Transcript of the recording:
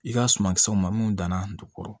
I ka sumankisɛw ma mun danna jukɔrɔ